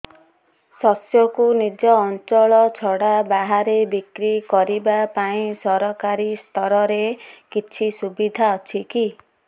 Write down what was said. ଶସ୍ୟକୁ ନିଜ ଅଞ୍ଚଳ ଛଡା ବାହାରେ ବିକ୍ରି କରିବା ପାଇଁ ସରକାରୀ ସ୍ତରରେ କିଛି ସୁବିଧା ଅଛି କି